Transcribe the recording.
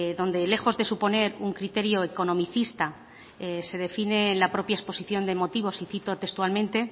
donde lejos de suponer un criterio economicista se define en la propia exposición de motivos y cito textualmente